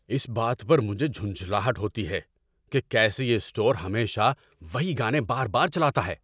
اس بات پر مجھے جھنجھلاہٹ ہوتی ہے کہ کیسے یہ اسٹور ہمیشہ وہی گانے بار بار چلاتا ہے۔